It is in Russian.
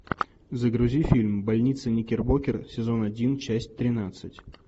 загрузи фильм больница никербокер сезон один часть тринадцать